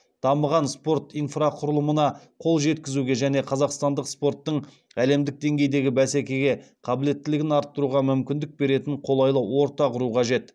дамыған спорт инфрақұрылымына қол жеткізуге және қазақстандық спорттың әлемдік деңгейдегі бәсекеге қабілеттілігін арттыруға мүмкіндік беретін қолайлы орта құру қажет